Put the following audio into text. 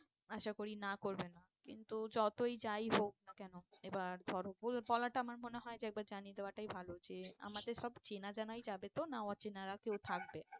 আশা করি না করবে না কিন্তু যতই যাই হোক না কেন এবার ধরো বলাটা আমার মনে হয় যে একবার জানিয়ে দেওয়াটাই ভালো যে আমাদের সব চেনা জানাই যাবে তো না অচেনারা কেউ থাকবে?